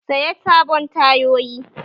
Saya sabon tayoyi!